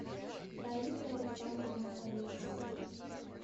раиса александровна орехова